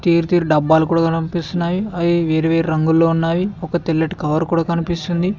డబ్బాలు కూడా పంపిస్తున్నాయి అవి వేరువేరు రంగులు ఉన్నాయి ఒక తెల్లటి కవర్ కూడా కనిపిస్తుంది.